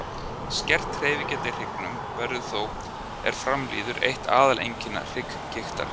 Skert hreyfigeta í hryggnum verður þó er fram líður eitt aðal einkenni hrygggigtar.